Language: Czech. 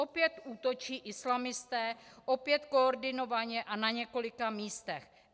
Opět útočí islamisté, opět koordinovaně a na několika místech.